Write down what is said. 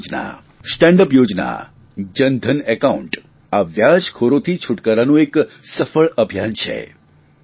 મુદ્રા યોજના stand up યોજના Jan Dhan account આ વ્યાજખોરોથી છુટકારાનું એક સફળ અભિયાન છે